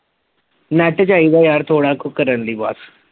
net ਚਾਹੀਦਾ ਯਾਰ ਥੋੜਾ ਕੁ ਕਰਨ ਲਈ ਬਸ